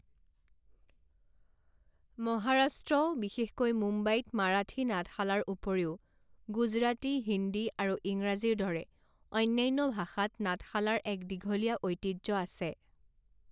মহাৰাষ্ট্ৰ, বিশেষকৈ মুম্বাইত মাৰাঠী নাটশালাৰ উপৰিও গুজৰাটী, হিন্দী আৰু ইংৰাজীৰ দৰে অন্যান্য ভাষাত নাটশালাৰ এক দীঘলীয়া ঐতিহ্য আছে।